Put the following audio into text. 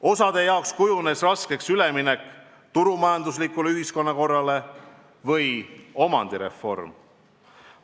Osa inimeste jaoks kujunes raskeks üleminek turumajanduslikule ühiskonnakorrale või omandireform.